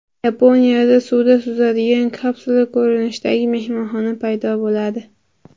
Yaponiyada suvda suzadigan kapsula ko‘rinishidagi mehmonxona paydo bo‘ladi.